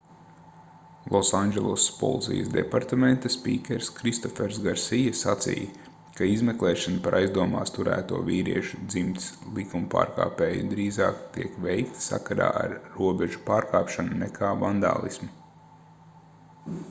losandželosas policijas departamenta spīkers kristofers garsija sacīja ka izmeklēšana par aizdomās turēto vīriešu dzimtes likumpārkāpēju drīzāk tiek veikta sakarā ar robežu pārkāpšanu nekā vandālismu